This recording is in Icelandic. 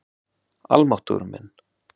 Almáttugur minn.